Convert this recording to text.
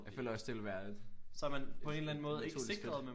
Jeg føler også det ville være et et naturligt skridt